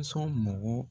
So mɔgɔ